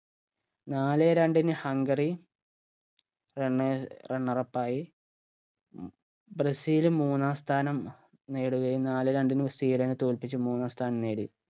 നാലേ രണ്ടിന് Hungary runner runner up ആയി ബ്രസീൽ മൂന്നാം സ്ഥാനം നേടുകയും നാലേ രണ്ടിന് സ്വീഡനെ തോൽപിച്ച് മൂന്നാം സ്ഥാനം നേടി